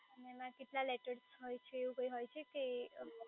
એમાં કેટલા letters હોય છે એવું કઇ હોય છે કે